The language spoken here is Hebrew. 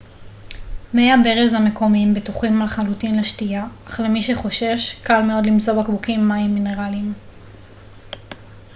מי הברז המקומיים בטוחים לחלוטין לשתייה אך למי שחושש קל מאוד למצוא בקבוקים מים מינרלים